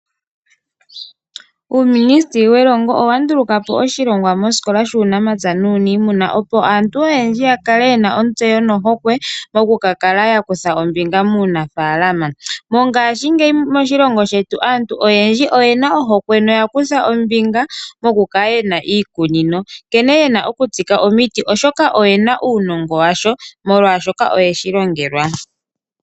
Uuministeli welongo owa ndulukapo oshilongwa mosikola shuunamapya nuuniimuna opo aantu oyendji yakale yena ontseyo nohokwe moku kakala ya kutha ombinga muunafaalama. Mongashingeyi moshilongo shetu aantu oyendji oyena ohokwe noya kutha ombinga moku kala kala yena iikunino, nkene yena okutsika omiti oshoka oyena uunongo washo molwaashoka oyeshi longelwa.